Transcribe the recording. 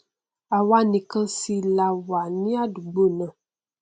àwa nìkan sì là wà ní àdúgbò náà